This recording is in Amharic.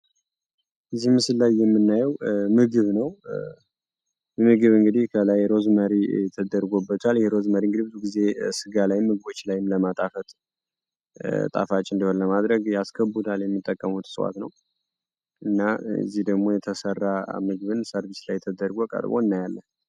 ላይ የምናየው ምግብ ነው ምግብ እንግዲህ ሩዝ አድርገውበታል ሩዝ እንግዲህ ምግብ ላይም ስጋ ላይም ጣፋጭ እንዲሆን ያስገቡታል እና እዚህ ደግሞ የተሰራ ምግብ ቀርቧል እናያለን።